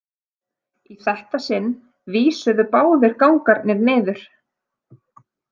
Í þetta sinn vísuðu báðir gangarnir niður.